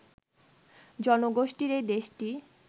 জনগোষ্ঠীর এই দেশটি